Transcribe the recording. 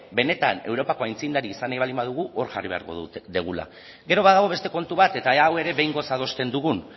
benetan europako aitzindari izan nahi baldin badugu hor jarri beharko dugula gero badago beste kontu bat eta ea hau ere behingoz adosten dugun